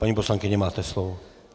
Paní poslankyně, máte slovo.